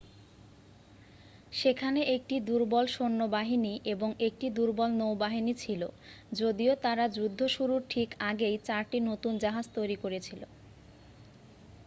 সেখানে একটি দুর্বল সৈন্যবাহিনী এবং একটি দুর্বল নৌবাহিনী ছিল যদিও তারা যুদ্ধ শুরুর ঠিক আগেই চারটি নতুন জাহাজ তৈরি করেছিল